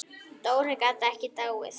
Dóri gat ekki dáið.